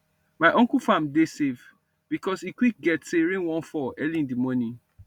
my uncle farm dey save because e quick get say rain wan fall early in the morning